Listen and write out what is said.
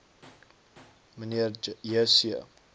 mnr j c